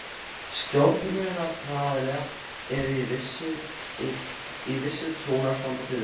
Stjórnunaraðilar eru í vissu trúnaðarsambandi við félagið.